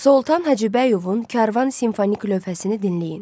Soltan Hacıbəyovun Karvan simfonik lövhəsini dinləyin.